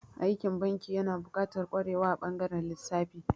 Aikin banki yana buƙatar ƙwarewa a ɓangaren lissafi.